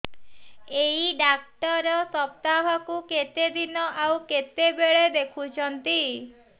ଏଇ ଡ଼ାକ୍ତର ସପ୍ତାହକୁ କେତେଦିନ ଆଉ କେତେବେଳେ ଦେଖୁଛନ୍ତି